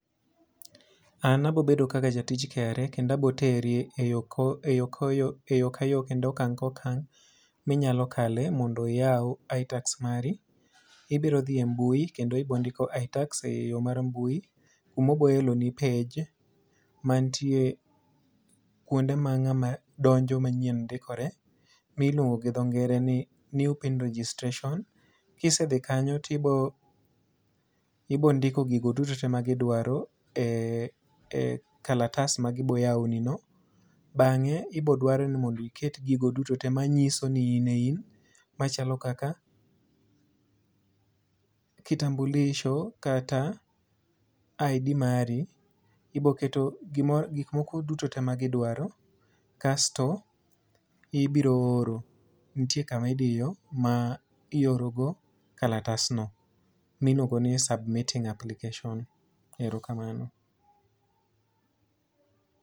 An abobedo kaka jatij KRA kendo aboteri eyo ko e yo ko yo e yo ka yo kendo okang' ko kang' minyalo kale mondo iywa iTax mari. Ibiro dhi e mbui kendo ibondiko iTax e yo mar mbui, kuma obo eloni page, mantie kuone ma ng'ama donje manyien ndikore. Ma idendo gi dho ngere ni New pin registration. Kisedhi kanyo tiro ibo ndiko gigo duto te ma gidwaro e e kalatas ma gibo yawoni no. Bang'e, ibodwar ni mondo iket gigo duto te ma nyiso ni ine in, machalo kaka kitambulisho kata ID mari. Iboketo gimoro kikmoko duto te ma gidwaro. Kasto, ibiro oro, nitie kama idiyo ma iorogo kalatasno, mluongo ni submitting application. Erokamano.